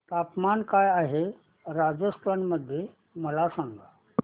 तापमान काय आहे राजस्थान मध्ये मला सांगा